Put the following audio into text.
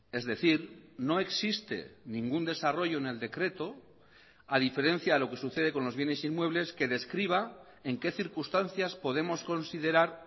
es decir no existe ningún desarrollo en el decreto a diferencia de lo que sucede con los bienes inmuebles que describa en qué circunstancias podemos considerar